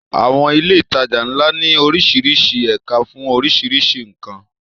Àwọn ilé ìtajà ńlá ní oríṣiríṣi ẹ̀ka fún oríṣiríṣi nǹkan.